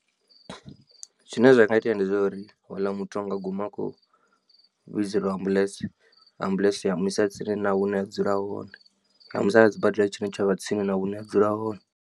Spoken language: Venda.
Zwine zwa nga itea ndi zwo uri houḽa muthu anga guma akhou vhidzeliwa ambuḽentse, ambuḽentse ya mu isa tsini hune a dzula hone ya muisa kha sibadela tshine tsha vha tsini na hune a dzula hone.